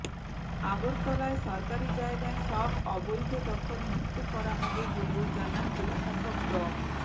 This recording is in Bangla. আগরতলায় সরকারি জায়গার সব অবৈধ দখল মুক্ত করা হবে বলেও জানান জেলা শাসক ড